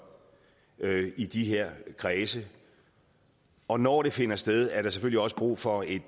i de her kredse og når det finder sted er der selvfølgelig også brug for et